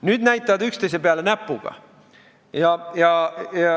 Nüüd aga näitavad üksteise peale näpuga.